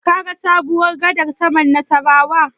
Kaga sabuwar gadar sama ta Nassarawa?